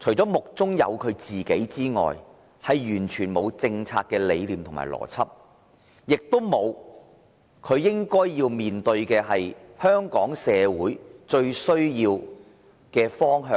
除了是目中只有自己外，完全欠缺政策理念和邏輯，他亦欠缺觀察力，無法看見香港社會最應走的方向。